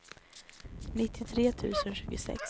nittiotre tusen tjugosex